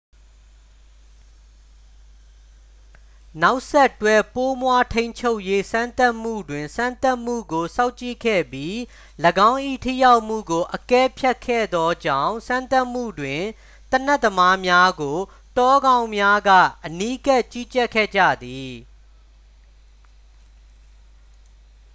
နောက်ဆက်တွဲ ပိုးမွှားထိန်းချုပ်ရေး စမ်းသပ်မှုတွင် စမ်းသပ်မှုကို စောင့်ကြည့်ခဲ့ပြီး ၎င်း၏ ထိရောက်မှုကို အကဲဖြတ်ခဲ့သောကြောင့် စမ်းသပ်မှုတွင် သေနတ်သမားများကို တောခေါင်းများက အနီးကပ် ကြီးကြပ်ခဲ့ကြသည်